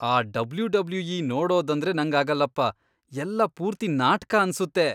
ಆ ಡಬ್ಲ್ಯೂ.ಡಬ್ಲ್ಯೂ.ಇ. ನೋಡೋದಂದ್ರೆ ನಂಗಾಗಲ್ಲಪ್ಪ, ಎಲ್ಲ ಪೂರ್ತಿ ನಾಟ್ಕ ಅನ್ಸುತ್ತೆ.